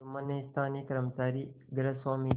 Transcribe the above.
जुम्मन ने स्थानीय कर्मचारीगृहस्वामीके